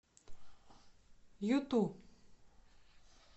юту